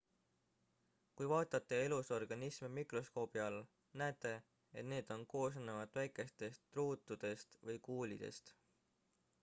kui vaatate elusorganisme mikroskoobi all näete et need on koosnevad väikestest ruutudest või kuulidest